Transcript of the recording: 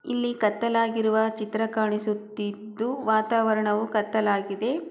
ಇಲ್ಲಿ ಕತ್ತಲ್ ಆಗಿರುವ ಚಿತ್ರ ಕಾಣಿಸುತ್ತಿದ್ದು ವಾತಾವರಣವು ಕತ್ತಲಾಗಿದೆ.